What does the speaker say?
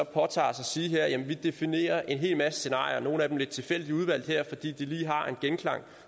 påtager os at sige at vi definerer en hel masse scenarier nogle af dem lidt tilfældigt udvalgt her fordi de lige har en genklang